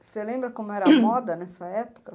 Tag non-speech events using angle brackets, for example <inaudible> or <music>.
Você lembra como era <coughs> a moda nessa época?